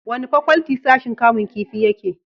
wani fakwalti sashin kamun kifi yake?